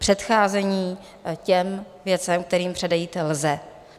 Předcházení těm věcem, kterým předejít lze.